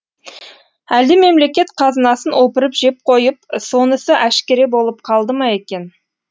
әлде мемлекет қазынасын опырып жеп қойып сонысы әшкере болып қалды ма екен